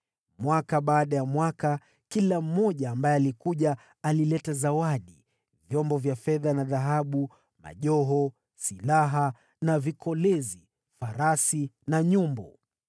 Mwaka baada ya mwaka, kila mmoja ambaye alikuja alileta zawadi: vyombo vya fedha na dhahabu, majoho, silaha na vikolezi, farasi na nyumbu.